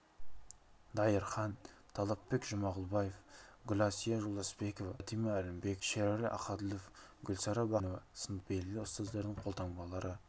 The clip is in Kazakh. дайырхан талапбек жұмағұлбаев гүласия жолдасбекова бәтима әлімбекова шерәлі ақәділов гүлсара бақбергенова сынды белгілі ұстаздардың қолтаңбалары